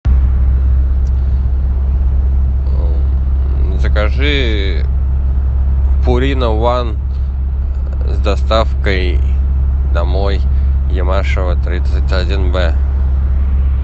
закажи пурина ван с доставкой домой ямашева тридцать один б